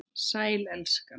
Sæl, elskan.